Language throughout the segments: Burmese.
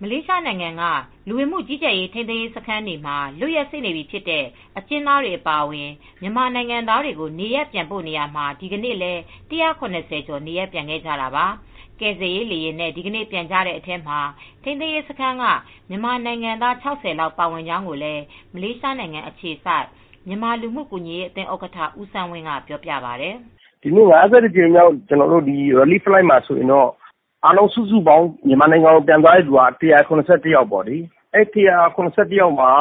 မလေးရှားနိုင်ငံက လူဝင်မှု ကြီးကြပ်ရေး ထိန်းသိမ်းရေးစခန်းတွေမှာ လွတ်ရက်စေ့နေပြီဖြစ်တဲ့ အကျဉ်းသားတွေ အပါအဝင် မြန်မာနိုင်ငံသားတွေကို နေရပ်ပြန်ပို့နေရာမှာ ဒီကနေ့လည်း ၁၇၀ ကျော် နေရပ်ပြန်ခဲ့ကြတာပါ။ ကယ်ဆယ်ရေး လေယာဉ်နဲ့ ဒီကနေ့ ပြန်ကြတဲ့ အထဲမှာတော့ ထိန်းသိမ်းရေးစခန်းက မြန်မာနိုင်ငံသား ၆၀ လောက် ပါဝင်ကြောင်လည်း မလေးရှားနိုင်ငံ အခြေစိုက် မြန်မာလူမှုကူညီရေးအသင်း ဥက္ကဋ္ဌ ဦးစန်းဝင်းက ပြောပါတယ်။ “၅၁ ကြိမ်မြောက်ကယ်ဆယ်ရေးလေယာဉ်မှာဆိုရင် အားလုံးစုစုပေါင်း မြန်မာနိုင်ငံကိုပြန်သွားတဲ့သူက ၁၇၁ ယောက်ဖြစ်ပါတယ်။ အဲဒီထဲမှာ ၇၁ ယောက်မှာ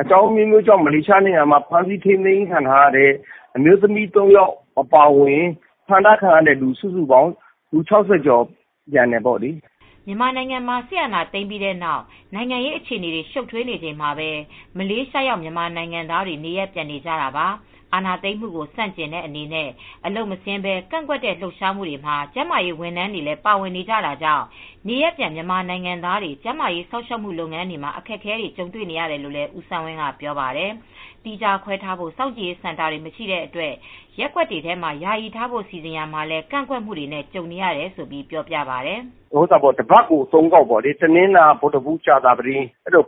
အကြောင်းအမျိုးမျိုးကြောင့် မလေးရှားနိုင်ငံမှာ ဖမ်းဆီးထိန်းသိမ်းခံထားရတဲ့ အမျိုးသမီး သုံးယောက်အပါအဝင် ဖမ်းထားခံရသူ စုစုပေါင်း၊ လူ ၆၀ ကျော်ပြန်တယ်ပေါ့လေ။" မြန်မာနိုင်ငံမှာ စစ်တပ်က အာဏာသိမ်းပြီးနောက် နိုင်ငံရေးအခြေအနေတွေ ရှုပ်ထွေးနေချိန်မှာပဲ မလေးရှားရောက် မြန်မာနိုင်ငံသားတွေ နေရပ်ပြန်နေကြတာပါ။ အာဏာသိမ်းမှုကို ဆန့်ကျင်တဲ့ အနေနဲ့ အလုပ်မဆင်းဘဲ ကန့်ကွက်တဲ့ လှုပ်ရှားမှုတွေမှာ ကျန်းမာရေး ဝန်ထမ်းတွေလည်း ပါဝင်နေကြတာကြောင့် နေရပ်ပြန် မြန်မာနိုင်ငံသားတွေ ကျန်းမာရေး စောင့်ရှောက်မှု လုပ်ငန်းတွေမှာ အခက်အခဲတွေ ကြုံနေရတယ်လို့လည်း ဦးစန်းဝင်းက ပြောပါတယ်။ သီးခြားခွဲထားဖို့ စောင့်ကြည့်ရေးစင်တာတွေ မရှိတဲ့အတွက် ရပ်ကွက်တွေမှာ ယာယီထားဖို့ စီစဉ်ရာမှာ ကန့်ကွက်တာတွေနဲ့လည်း ကြုံနေရတယ်လို့ ပြောပါတယ်။ “တပတ်ကို ၃ ခေါက်ပို့နေတာ တနင်္လာ၊ ဗုဒ္ဓဟူး၊ ကြာသပတေး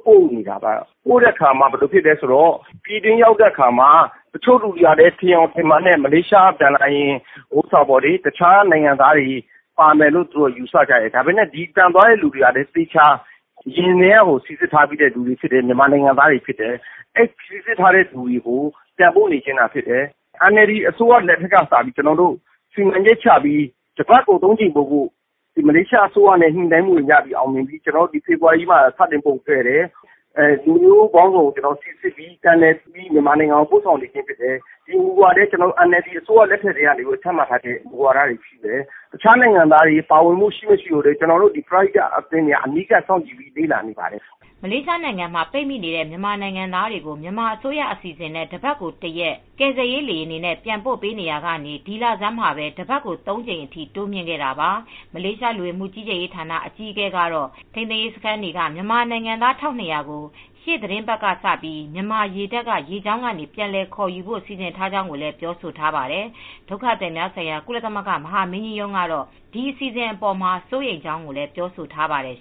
ပို့နေတာပါ။ ပြည်တွင်းရောက်တဲ့အခါမှာ တချို့လူတွေက ထင်ယောင်ထင်မှားနဲ့ မလေးရှားက ပြန်လာရင် တခြားနိုင်ငံသားတွေ ပါမယ်လို့ ယူဆကြတယ်။ ပြန်တဲ့သူတွေက အရင်ကတည်းက သေချာစိစစ်ပြီးထားတဲ့မြန်မာနိုင်ငံသားတွေဖြစ်ပါတယ်။ စိစစ်ထားတဲ့သူတွေကို ပြန်ပို့နေခြင်းဖြစ်တယ်။ NLD အစိုးရလက်ထက်မှာ စီမံချက်ချပြီး တပတ်ကို ၃ ကြိမ်ပို့ဖို့အတွက် မလေးရှားအစိုးရနဲ့ ညှိနှိုင်းပြီး အောင်မြင်ပြီး ဒီဖေဖေါ်ဝါရီလကနေ စပို့မယ်ဆိုတာလုပ်ခဲ့တယ်။ လူမျိုးပေါင်းစုံကို စိစစ်ပြီး ပြန်လည်ပြီး မြန်မာနိုင်ငံကို ပို့နေတာဖြစ်တယ်။ ဒီမူဝါဒတွေကလည်း NLD လက်ထက်ကတည်းက ချထားတဲ့မူဝါဒတွေဖြစ်တယ်။ တခြားနိုင်ငံသားတွေ ပါဝင်၊ မဝင်ဆိုတာ ကျနော်တို့ ပရဟိတအဖွဲ့တွေက အနီးကပ်စောင့်ကြည့်လေ့လာနေတာဖြစ်ပါတယ်။” မလေးရှားနိုင်ငံမှာ ပိတ်မိနေတဲ့ မြန်မာနိုင်ငံသားတွေကို မြန်မာအစိုးရအစီစဉ်နဲ့ တပတ်ကို ၁ ရက် ကယ်ဆယ်ရေး လေယာဉ်တွေနဲ့ ပြန်ပို့ပေးနေရာကနေ ဒီလဆန်းမှာပဲ တပတ်ကို ၃ ကြိမ်အထိ တိုးမြှင့်ခဲ့တာပါ။ မလေးရှား လူဝင်မှုကြီးကြပ်ရေးဌာန အကြီးအကဲကတော့ ထိန်းသိမ်းရေးစခန်းတွေက မြန်မာနိုင်ငံသား ၁,၂၀၀ ကို ရှေ့သီတင်းပတ်ကစပြီး မြန်မာရေတပ်က ရေကြောင်းကနေ ပြန်လည် ခေါ်ယူဖို့ စီစဉ်ထားကြောင်းလည်း ပြောဆိုထားပါတယ်။ ဒုက္ခသည်များဆိုင်ရာ ကုလသမဂ္ဂ မဟာမင်းကြီးရုံးကတော့ အစီအစဉ်အပေါ်မှာ စိုးရိမ်ကြောင်း ပြောဆိုထားပါတယ်